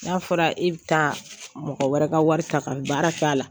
N'a fɔra e bɛ taa mɔgɔ wɛrɛ ka wari ta ka baara k'a la